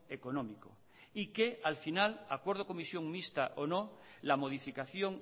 económico y que al final acuerdo comisión mixta o no la modificación